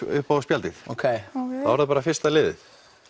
upp á spjaldið þá er það bara fyrsta liðið